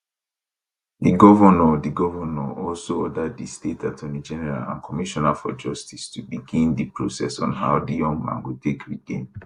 di govnor di govnor also order di state attorneygeneral and commissioner for justice to begin di process on how di young man go take regain